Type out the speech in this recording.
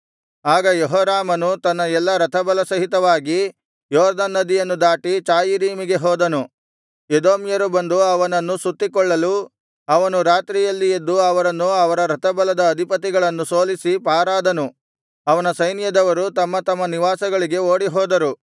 ಆಗ ಯೆಹೋರಾಮನು ತನ್ನ ಎಲ್ಲಾ ರಥಬಲಸಹಿತವಾಗಿ ಯೊರ್ದನ್ ನದಿಯನ್ನು ದಾಟಿ ಚಾಯೀರಿಮಿಗೆ ಹೋದನು ಎದೋಮ್ಯರು ಬಂದು ಅವನನ್ನು ಸುತ್ತಿಕೊಳ್ಳಲು ಅವನು ರಾತ್ರಿಯಲ್ಲಿ ಎದ್ದು ಅವರನ್ನು ಅವರ ರಥಬಲದ ಅಧಿಪತಿಗಳನ್ನು ಸೋಲಿಸಿ ಪಾರಾದನು ಅವನ ಸೈನ್ಯದವರು ತಮ್ಮ ತಮ್ಮ ನಿವಾಸಗಳಿಗೆ ಓಡಿಹೋದರು